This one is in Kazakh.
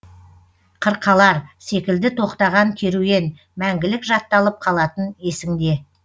қырқалар секілді тоқтаған керуен мәңгілік жатталып қалатын есіңде